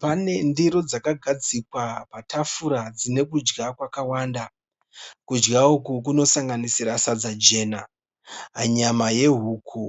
Pane ndiro dzakagadzikwa patafura dzine kudya kwakawanda. Kudya uku kunosanganisira sadza jena, nyama yehuku